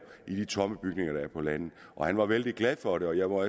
i de tomme bygninger der er på landet han var vældig glad for det og jeg må